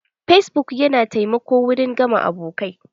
Fesbuk yana taimako wurin gama abokai.